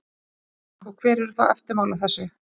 Telma: Og hver eru þá eftirmál af þessu?